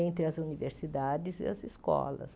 entre as universidades e as escolas.